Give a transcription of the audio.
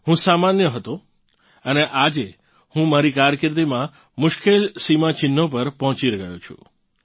હું સામાન્ય હતો અને આજે હું મારી કારકિર્દીમાં મુશ્કેલ સીમાચિહ્નો પર પહોંચી ગયો છું